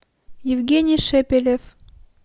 евгений шепелев